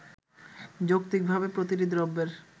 যৌক্তিকভাবে প্রতিটি দ্রব্যের